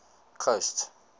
coast